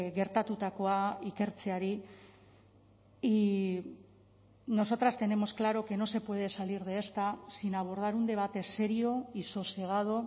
gertatutakoa ikertzeari y nosotras tenemos claro que no se puede salir de esta sin abordar un debate serio y sosegado